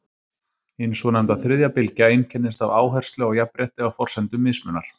Hin svonefnda þriðja bylgja einkennist af áherslu á jafnrétti á forsendum mismunar.